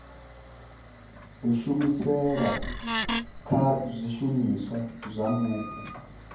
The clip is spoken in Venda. kushumisele kwa zwishumiswa zwa mupo